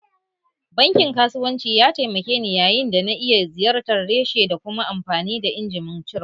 Bankin kasuwanci ya taimake ni yayin da na iya ziyartar reshe da kuma amfani da injimin cire kuɗi